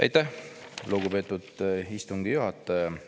Aitäh, lugupeetud istungi juhataja!